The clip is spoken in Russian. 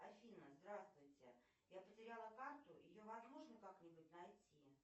афина здравствуйте я потеряла карту ее возможно как нибудь найти